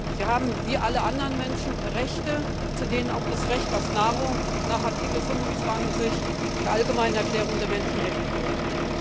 Sie haben wie alle anderen Menschen Rechte, zu denen auch das Recht auf Nahrung nach Artikel 25 der Allgemeinen Erklärung der Menschenrechte gehört.